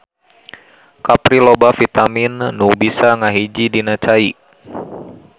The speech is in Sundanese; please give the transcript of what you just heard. Kapri loba vitamin nu bisa ngahiji dina cai.